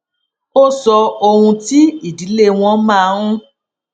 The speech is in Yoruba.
ó sọ ohun tí ìdílé wọn máa n